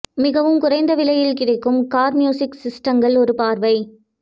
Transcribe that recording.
மிகவும் குறைந்த விலையில் கிடைக்கும் கார் மியூசிக் சிஸ்டங்கள் ஒரு பார்வை